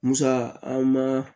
Musa an ma